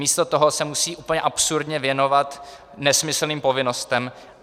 Místo toho se musí úplně absurdně věnovat nesmyslným povinnostem.